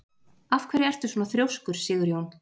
Af hverju ertu svona þrjóskur, Sigurjón?